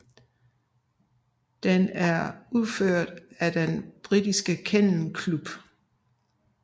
Den er udført af den Britiske Kennel Klub